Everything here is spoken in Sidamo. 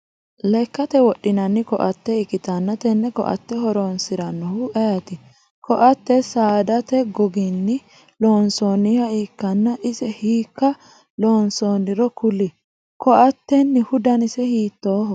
Lekate wodhinnanni koate ikitanna tenne koate horoonsiranohu ayiti? Koate saadate goginni loonsoonniha ikanna ise hiika loonsoonniro kuli? Koatennihu danisa hiittooho?